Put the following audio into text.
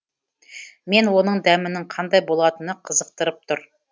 мені оның дәмінің қандай болатыны қызықтырып тұр